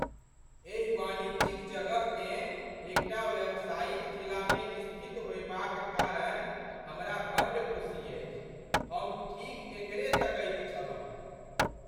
एहि वाणिज्यिक जगहकेँ एकटा व्यावसायिक जिलामे स्थित होएबाक कारण हमरा बड्ड खुशी अछि। हम ठीक एकरे तकैत छलहुँ।